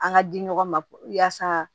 An ka di ɲɔgɔn ma yaasa